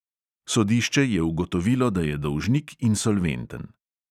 Sodišče je ugotovilo, da je dolžnik insolventen.